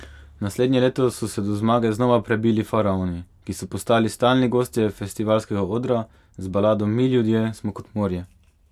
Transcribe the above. Naslednje leto so se do zmage znova prebili Faraoni, ki so postali stalni gostje festivalskega odra, z balado Mi ljudje smo kot morje.